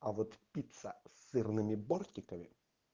а вот пицца с сырными бортиками